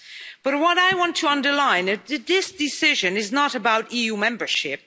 But what I want to underline is that this decision is not about EU membership